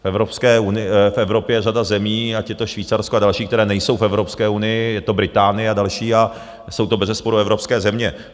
V Evropě je řada zemí, ať je to Švýcarsko a další, které nejsou v Evropské unii, je to Británie a další a jsou to bezesporu evropské země.